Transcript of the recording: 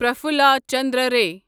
Prafulla Chandra Ray